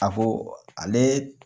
A ko ale